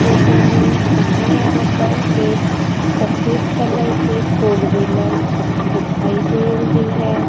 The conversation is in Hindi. फोटो में हमें यहां पर एक सफेद कलर की फोर व्हीलर दिखाई दे रही है।